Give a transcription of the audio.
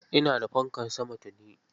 Ina da fankar sama tuni.